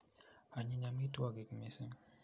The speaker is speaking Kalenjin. Anyiny amitwogik missing